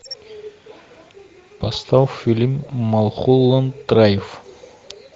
поставь фильм малхолланд драйв